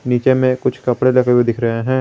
नीचे में कुछ कपड़े लगे हुए दिख रहे हैं।